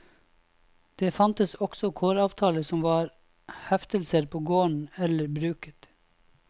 Det fantes også kåravtaler som var heftelser på gården eller bruket.